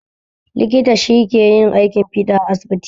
Likita shi ke yin aikin fiɗa a asibiti